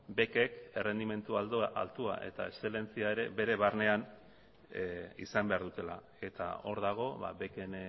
bekek errendimendu altua eta eszelentzia ere bere barnean izan behar dutela eta hor dago beken